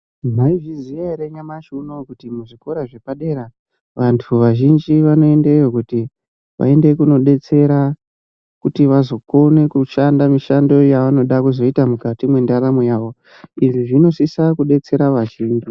Mwaizviziya ere nyamashi unouyu, kuti muzvikora zvepadera vantu vazhinji vanoendeyo kuti vaende kunodetsera, kuti vazokone kushanda mishando yavanoda kuzoita mukati mwendaramo yavo. Izvi zvinosisa kudetsera vazhinji.